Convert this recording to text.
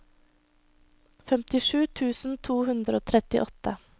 femtisju tusen to hundre og trettiåtte